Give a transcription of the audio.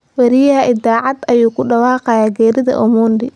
Wariyaha idaacad ayaa ku dhawaaqay geerida Omondi